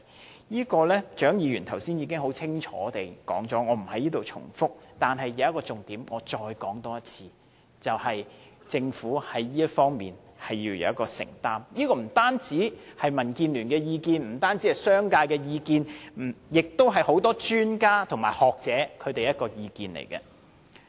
關於這次會談的內容，蔣議員剛才已經很清楚地詳述，我不在此重複，但我要重申一個重點，便是政府在這方面要有所承擔，這不僅是民建聯和商界的意見，同樣是很多專家和學者的意見。